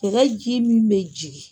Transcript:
Dɛgɛ ji min bɛ jigin.